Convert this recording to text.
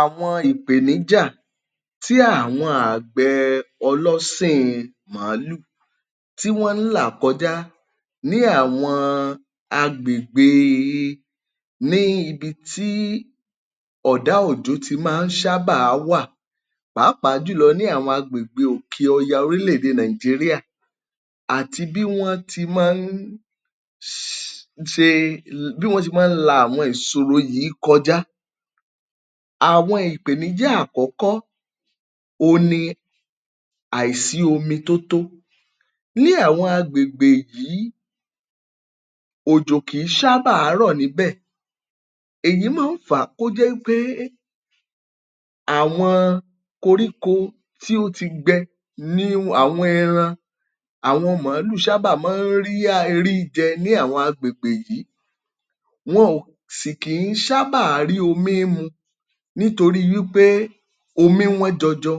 Àwọn ìpéníjà tí àwọn àgbẹẹ ọlọ́sìn in màálù tí wọ́n ń là kọjá ní àwọn agbègbèe ní ibi tí ọ̀dá òjò ti maá ṣábà wà pà́apàá jùlọ ní àwọn agbègbè òkè ọya orílẹ̀ èdè Nàìjíríà àti bí wọ́n ti máa ń ṣe bí wọ́n ṣe máa ń la àwọn ìṣoro yìí kọjá. Àwọn ìpèníjà àkọ́kọ́̀, òun ni àìsí omi tó tó ní àwọn agbègbè yìí. Òjò kìí ṣàbà rọ̀ níbẹ̀, èyí máa ń fàá kó jẹ́ wípé àwọn koríko tí ó ti gbẹ ní àwọn ẹran àwọn màálù ṣábà maá rí um ríjẹ ní àwọn agbègbè yìí, wọn ò sì kìí ṣábà rí omi mu nítorí wípé omi wọ́n jọjọ